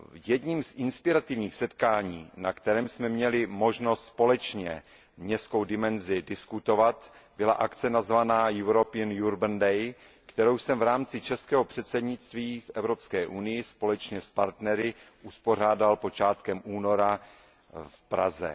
Jedním z inspirativních setkání, na kterém jsme měli možnost společně městskou dimenzi diskutovat, byla akce nazvaná European Urban Day, kterou jsem v rámci českého předsednictví Evropské unii společně s partnery uspořádal počátkem února v Praze.